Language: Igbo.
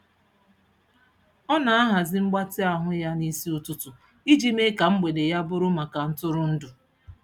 Ọ na-ahazi mgbatị ahụ ya n'isi ụtụtụ iji mee ka mgbede ya bụrụ maka ntụrụndụ.